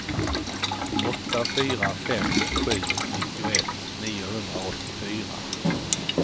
åtta fyra fem sju nittioett niohundraåttiofyra